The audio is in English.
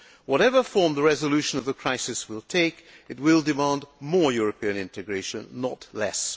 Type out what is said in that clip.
Whatever form the resolution of the crisis will take, it will demand more European integration, not less.